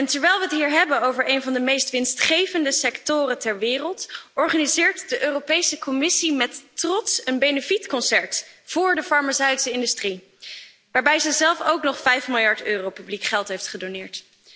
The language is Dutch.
Terwijl we het hier hebben over een van de meest winstgevende sectoren ter wereld, organiseert de Europese Commissie met trots een benefietconcert voor de farmaceutische industrie, waarbij ze zelf ook nog 5 miljard euro publiek geld heeft gedoneerd.